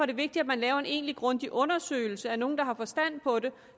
det vigtigt at man laver en egentlig grundig undersøgelse at nogle der har forstand på det